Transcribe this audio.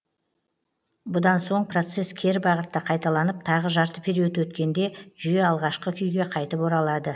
бұдан соң процесс кері бағытта қайталанып тағы жарты период өткенде жүйе алғашқы күйге қайтып оралады